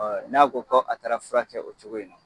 n'a ko ko a taara fura kɛ o cogo in na